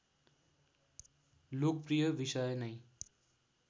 लोकप्रिय विषय नै